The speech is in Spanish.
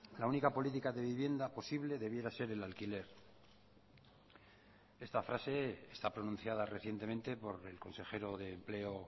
la única política de vivienda posible debiera ser el alquiler esta frase está pronunciada recientemente por el consejero de empleo